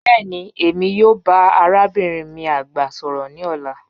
Bẹẹni Emi yoo ba arabinrin mi agba sọrọ ni ọla